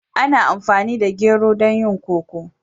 Ana amfani da gero don yin koko.